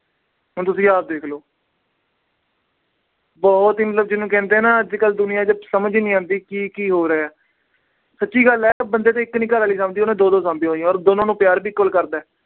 ਹੁਣ ਤੁਸੀਂ ਆਪ ਦੇਖ ਲੋ। ਬਹੁਤ ਹੀ ਮਤਲਬ ਦੁਨੀਆ ਜਿਹਨੂੰ ਕਹਿੰਦੇ ਆ ਨਾ ਪਤਾ ਨੀ ਕੀ-ਕੀ ਹੋ ਰਿਹਾ। ਸੱਚੀ ਗੱਲ ਏ। ਬੰਦੇ ਤੋਂ ਇੱਕ ਨੀ ਸਮਦੀ, ਉਹਨੇ ਦੋ-ਦੋ ਸਾਮੀਆਂ ਹੋਈਆਂ ਔਰ ਦੋਨਾਂ ਨੂੰ ਪਿਆਰ ਵੀ ਕਰਦਾ।